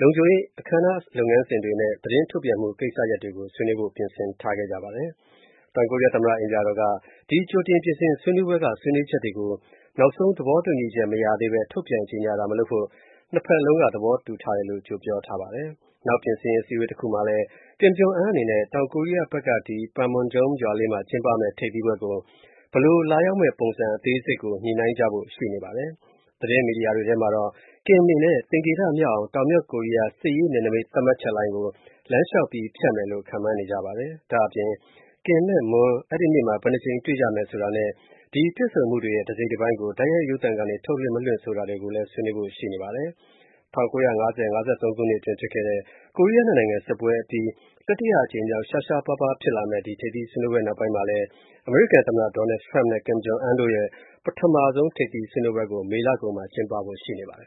လုံခြုံရေး၊ အခမ်းအနားလုပ်ငန်းစဉ်နဲ့ သတင်းထုတ်ပြန်မှု ကိစ္စရပ်တွေကို ဆွေးနွေးဖို့ ပြင်ဆင်ထားကြပါတယ်။ တောင်ကိုရီးယားသမ္မတ အိမ်ပြာတော်ကဒီကြိုတင်ပြင်ဆင်ရေး ဆွေးနွေးပွဲကဆွေးနွေးချက်တွေကိုနောက်ဆုံးသဘောတူညီမှု မရသေးဘဲ ထုတ်ပြန်ကြေညာတာ မလုပ်ဖို့နှစ်ဖက် သဘောတူထားတယ်လို့ကြိုပြောထားပါတယ်။ နောက် ပြင်ဆင်ရေး အစည်းအဝေးတစ်ခုမှာလဲ Kim Jong Un အနေနဲ့ တောင်ကိုရီးယားဖက်က ဒီ Panmunjom ရွာလေးမှာ ကျင်းပမဲ့ ထိပ်သီးပွဲကို ဘယ်လိုလာရောက်မဲ့ ပုံစံအသေးစိတ်ကို ညှိုနှိုင်းကြဖို့ ရှိပါတယ်။ သတင်းမီဒီယာတွေထဲမှာတော့ Kim အနေနဲ့သင်္ကေတမြောက်အောင်တောင်-မြောက် ကိုရီးယား စစ်ရေး နယ်နမိတ် သတ်မှတ်ချက်လိုင်းကို လမ်းလျှောက်ဖြတ်မယ်လို့ ခန့်မှန်းနေကြပါတယ်။ ဒါ့အပြင် Kim နဲ့ Moon အဲ့ဒိနေ့မှာ ဘယ်နှစ်ကြိမ်တွေ့ကြမယ် ဆိုတာနဲ့ ဒီတွေ့ဆုံမှုတွေရဲ့ တစိတ်တပိုင်းကိုတိုက်ရိုက်ရုပ်သံကနေ ထုတ်လွှင့် မလွှင့်ဆိုတာတွေကို ဆွေးနွေးဖို့ ရှိပါတယ်။ ၁၉၅၀-၅၃ ခုနှစ်အတွင်းဖြစ်ခဲ့တဲ့ ကိုရီးယားနှစ်နိုင်ငံစစ်ပွဲအပြီးတတိယအကြိမ်မြောက် ရှားရှားပါးပါးဖြစ်လာမဲ့ ဒီထိပ်သီးပွဲနောက်ပိုင်းမှာလဲ အမေရိကန်သမ္မတ Donald Trump နဲ့ Kim Jong Un တို့ရဲ့ ပထမဆုံး ထိပ်သီးဆွေးနွေးပွဲကို မေလ ကုန်မှာ ကျင်းပဖို့ ရှိနေပါတယ်